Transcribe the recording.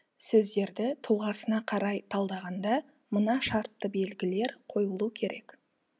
сөздерді тұлғасына қарай талдағанда мына шартты белгілер қойылуы керек